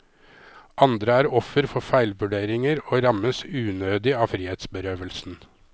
Andre er offer for feilvurderinger og rammes unødig av frihetsberøvelsen.